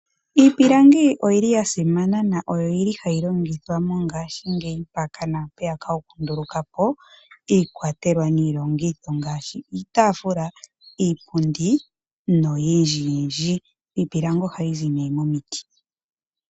Iipilangi oya simana noyo hayi longithwa ngashingeyi okunduluka po iikwatelwa niilongitho ngaashi iitaafula, iipundi noyindjiyindji. Iipilangi ohayi zi nduno momiti.